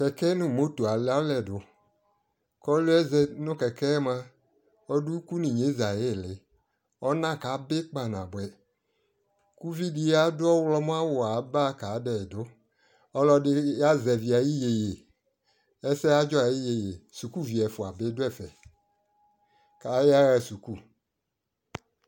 Kɛkɛ nu moto alualɛ duKɔli yɛ zati nu kɛkɛ mua, ɔdu ukuli nu inyeza ayi liƆna kabi kpa na buaUvidi adu ɔɣlɔmɔ awu ba ka dɛ duƆlɔdi azɛvi ayi yeye, ɛsɛ adzɔ yɛ yi yeyeSuku vi ɛfua bi du ɛfɛAya ɣa suku